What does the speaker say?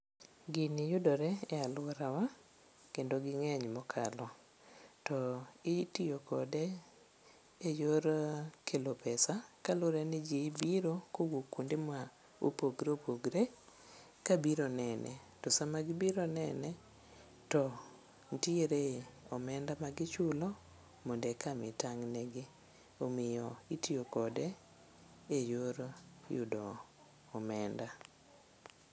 Gini yudore e alworawa kendo ging'eny mokalo to itiyokode e yor kelo pesa kaluwre ni ji biro kowuok kuonde ma opogre opogre kabiro nene to sama gibiro nene to nitiere omenda ma gichulo mondo eka mi tang'negi. Omiyo itiyo kode e yor yudo omenda.